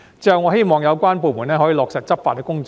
最後，我希望有關部門可以落實執法工作。